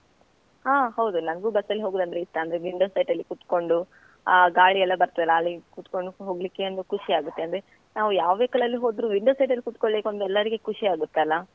ಹಾ ಹೌದು ನನ್ಗೂ bus ಅಲ್ಲಿ ಹೋಗುದಂದ್ರೆ ಇಷ್ಟ ಅಂದ್ರೆ window side ಅಲ್ಲಿ ಕುತ್ಕೊಂಡು ಆ ಗಾಳಿ ಎಲ್ಲ ಬರ್ತದೆ ಅಲ್ಲ ಅಲ್ಲಿ ಕುತ್ಕೊಂಡು ಹೋಗ್ಲಿಕ್ಕೆ ಒಂದು ಖುಷಿ ಆಗುತ್ತೆ, ಅಂದ್ರೆ ನಾವು ಯಾವ್ vehicle ಲಲ್ಲಿ ಹೋದ್ರೂ window side ಲ್ಲಿ ಕುತ್ಕೊಳ್ಳಿಕ್ಕೆ ಒಂದು ಎಲ್ಲಾರಿಗೆ ಖುಷಿ ಆಗುತ್ತಲ್ಲ.